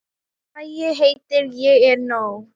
Lagið heitir Ég er nóg.